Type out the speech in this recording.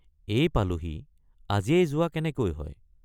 এই পালোহি আজিয়েই যোৱা কেনেকৈ হয়।